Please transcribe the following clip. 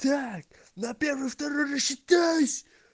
так на первый второй рассчитайсь